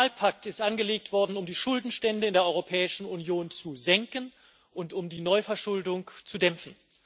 Der Fiskalpakt ist angelegt worden, um die Schuldenstände in der Europäischen Union zu senken und um die Neuverschuldung zu dämpfen.